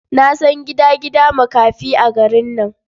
Na san gidan gidan makafi a garin nan.